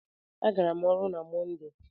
A gara m ọrụ na Mọnde.